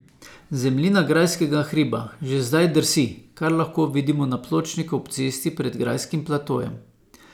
Zemljina grajskega hriba že zdaj drsi, kar lahko vidimo na pločniku ob cesti pred grajskim platojem.